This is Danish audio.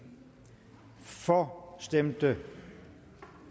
for stemte